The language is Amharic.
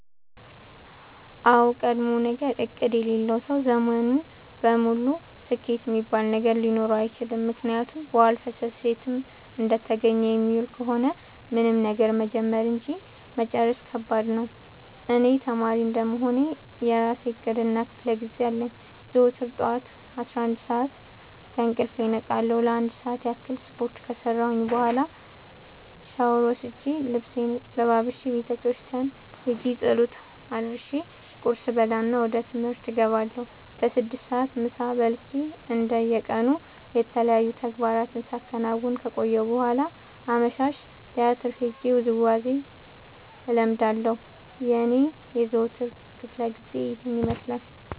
አዎድ ቀድሞነገር እቅድ የሌለው ሰው ዘመኑን ሙሉ ስኬት እሚባል ነገር ሊኖረው አይችልም። ምክንያቱም በዋልፈሰስ የትም እንደተገኘ የሚውል ከሆነ ምንም ነገር መጀመር እንጂ መጨረስ ከባድ ነው። እኔ ተማሪ እንደመሆኔ የእራሴ እቅድ እና ክፋለጊዜ አለኝ። ዘወትር ጠዋት አስራአንድ ሰዓት ከእንቅልፌ እነቃለሁ ለአንድ ሰዓት ያክል ስፓርት ከሰራሁኝ በኋላ ሻውር ወስጄ ልብሴን ለባብሼ ቤተክርስቲያን ኸጄ ፀሎት አድርሼ ቁርስ እበላና ወደ ትምህርት እገባለሁ። በስድስት ሰዓት ምሳ በልቼ እንደ የቀኑ የተለያዩ ተግባራትን ሳከናውን ከቆየሁ በኋላ አመሻሽ ቲያትር ሄጄ ውዝዋዜ እለምዳለሁ የኔ የዘወትር ክፍለጊዜ ይኸን ይመስላል።